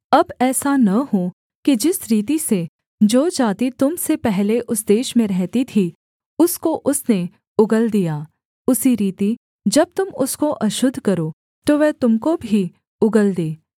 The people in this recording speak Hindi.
अब ऐसा न हो कि जिस रीति से जो जाति तुम से पहले उस देश में रहती थी उसको उसने उगल दिया उसी रीति जब तुम उसको अशुद्ध करो तो वह तुम को भी उगल दे